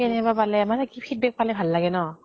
কেনে বা পালে মানে কি feedback পালে ভাল লাগে ন।